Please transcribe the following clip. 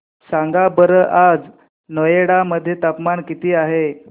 सांगा बरं आज नोएडा मध्ये तापमान किती आहे